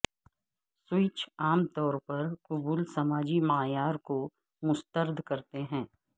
switch عام طور پر قبول سماجی معیار کو مسترد کرتے ہیں